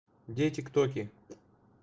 где тик-токи